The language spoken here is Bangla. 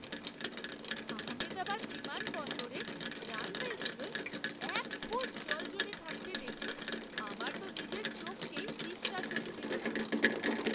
আহমেদাবাদ বিমানবন্দরের রানওয়েগুলোয় এক ফুট জল জমে থাকতে দেখে আমার তো নিজের চোখকেই বিশ্বাস হচ্ছিল না!